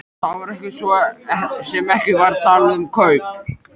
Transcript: Það var svo sem ekki verið að tala um kaup.